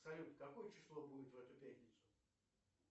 салют какое число будет в эту пятницу